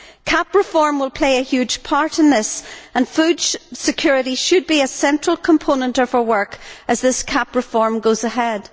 CAP reform will play a huge part in this, and food security should be a central component of our work as this CAP reform goes ahead.